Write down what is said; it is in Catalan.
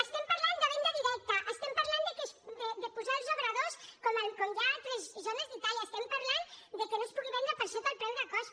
estem parlant de venda directa estem parlant de posar els obradors com hi ha a altres zones d’itàlia estem parlant de que no es pugui vendre per sota el preu de cost